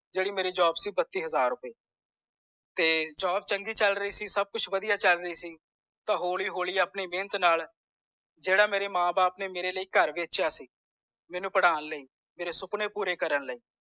ਜੇਡੀ ਮੇਰੀ job ਸੀ ਉਹ ਪਚਿ ਹਜ਼ਾਰ ਰੁਪਏ job ਚੰਗੀ ਚਲ ਰਹੀ ਸੀ ਸਬ ਕੁਛ ਵਦੀਆਂ ਚਲ ਰੀ ਸੀ ਤਾਂ ਹੌਲੀ ਹੌਲੀ ਆਪਣੀ ਮੇਹਨਤ ਨਾਲ ਜੇਦਾ ਮੇਰੇ ਮਾਂ ਬਾਪ ਨੇ ਮੇਰੇ ਲਾਇ ਘਰ ਵੇਚਿਆ ਸੀ ਮੈਨੂੰ ਪੜ੍ਹਾਣ ਲਾਇ ਮੇਰੇ ਸੁਪਨੇ ਪੂਰੇ ਕਰਨ ਲਾਇ